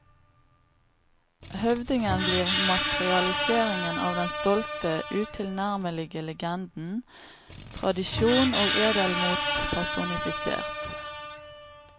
Høvdingen blir materialiseringen av den stolte, utilnærmelige legenden, tradisjon og edelmot personifisert.